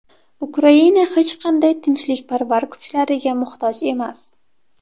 Ukraina hech qanday tinchlikparvar kuchlariga muhtoj emas.